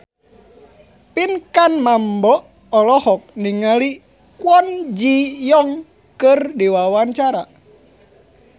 Pinkan Mambo olohok ningali Kwon Ji Yong keur diwawancara